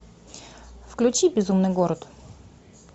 включи безумный город